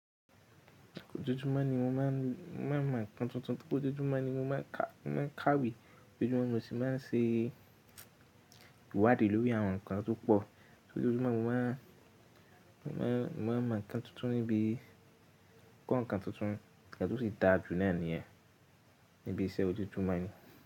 Ojúọ̀júmọ́ ni mo máà ń mọ ǹkan tuntun, tó bó ojúọ̀júmọ́ ni mo máa ń kàwé, ojúọ̀júmọ́ ni mo sì máa ń se ìwádìí lórí àwọn ǹkan tó pọ̀. Lójoọ̀júmọ́ n mo máa ń mọ ǹkan tuntun níbi kó ǹkan tuntun nkan to sì dáa jù náà níyẹn níbi iṣẹ́ ojúọ̀júmọ́ eni.